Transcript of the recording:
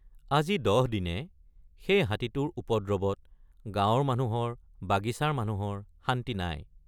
আজি দহ দিনে সেই হাতীটোৰ উপদ্ৰৱত গাঁৱৰ মানুহৰ বাগিচাৰ মানুহৰ শান্তি নাই।